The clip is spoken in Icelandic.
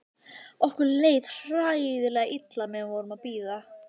Okkur leið hræðilega illa meðan við vorum að bíða.